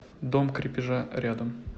дом крепежа рядом